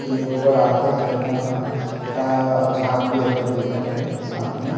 ले ऊपर आत हे झरना हा ता झाग भी एकदम दिखत हवे साथ में--